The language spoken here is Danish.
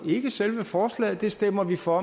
ikke selve forslaget vi stemmer for